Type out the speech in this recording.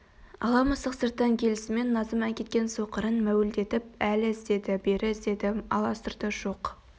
ала мысық сырттан келісімен назым әкеткен соқырын мәуілдеп әрі іздеді бері іздеді аласұрды жоқ